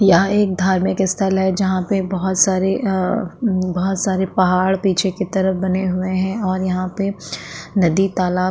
यहाँ एक धार्मिक स्थल है जहाँ पे बहोत सारे आ बहोत सारे पहाड़ पीछे की तरफ बने हुए हैं और यहाँ पे नदी तालाब --